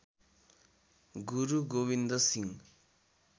Guru Gobind Singh